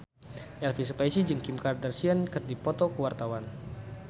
Elvy Sukaesih jeung Kim Kardashian keur dipoto ku wartawan